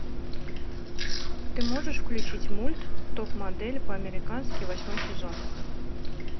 ты можешь включить мульт топ модель по американски восьмой сезон